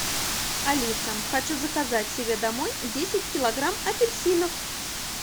алиса хочу заказать себе домой десять килограмм апельсинов